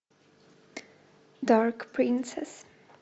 дарк принцесс